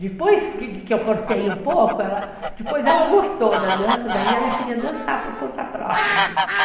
Depois que eu forcei um pouco, depois ela gostou da dança, daí ela queria dançar por conta própria mesmo.